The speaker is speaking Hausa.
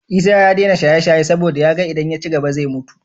Isa ya dena shaye shaye saboda yaga idan ya cigaba zai mutu